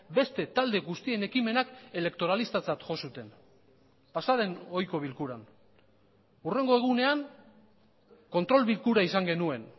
beste talde guztien ekimenak elektoralistatzat jo zuten pasa den ohiko bilkuran hurrengo egunean kontrol bilkura izan genuen